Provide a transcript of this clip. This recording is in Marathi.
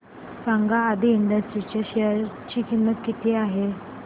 सांगा आदी इंडस्ट्रीज लिमिटेड च्या शेअर ची किंमत किती आहे